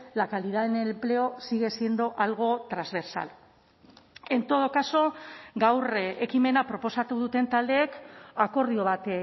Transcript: la calidad en el empleo sigue siendo algo transversal en todo caso gaur ekimena proposatu duten taldeek akordio bat